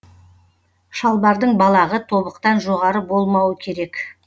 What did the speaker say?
шалбардың балағы тобықтан жоғары болмауы керек